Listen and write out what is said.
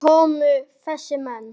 Hvaðan komu þessi menn?